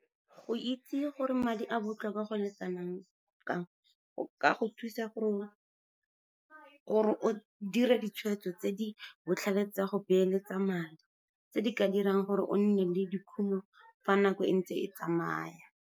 Go itse gore madi a botlhokwa go le kanang kang, go ka go thusa gore o dire ditshweetso tse di botlhale tsa go beeletsa madi, tse di ka dirang gore o nne le dikhumo fa nako e ntse e tsamaya.